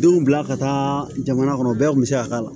Denw bila ka taa jamana kɔnɔ bɛɛ kun bɛ se ka k'a la